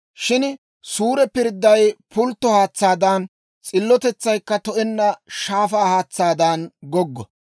Shin suure pirdday pultto haatsaadan, s'illotetsaykka to"enna shaafaa haatsaadan goggo.